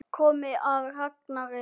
Komið að Ragnari í suður.